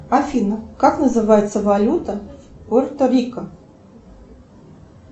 афина как называется валюта пуэрто рико